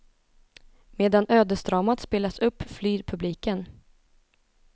Medan ödesdramat spelas upp, flyr publiken.